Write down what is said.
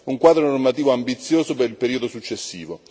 un quadro normativo ambizioso per il periodo successivo.